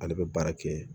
Ale bɛ baara kɛ